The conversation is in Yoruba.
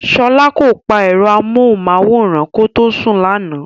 Ṣọ́la kò pa ẹ̀rọ amóhùnmáwòrán kó tó sùn lánàá.